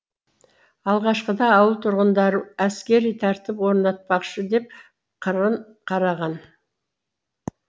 алғашқыда ауыл тұрғындары әскери тәртіп орнатпақшы деп қырын қараған